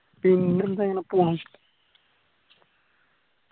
പിന്നെന്താ ഇങ്ങന പോണു